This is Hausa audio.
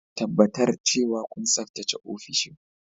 Tabbatar cewa kun tsaftace ofishin.